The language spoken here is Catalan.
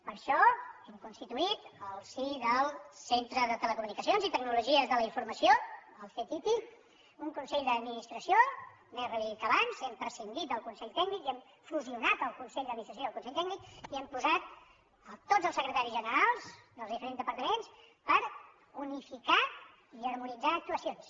per això hem constituït al si del centre de telecomunicacions i tecnologia de la informació el ctti un consell d’administració més reduït que abans hem prescindit del consell tècnic i hem fusionat el consell d’administració i el consell tècnic i hi hem posat tots els secretaris generals dels diferents departaments per unificar i harmonitzar actuacions